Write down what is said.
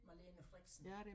Malene Freksen